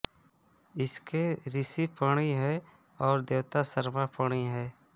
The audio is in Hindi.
इसके ऋषि पणि हैं और देवता सरमा पणि हैं